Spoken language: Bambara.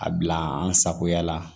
A bila an sagoya la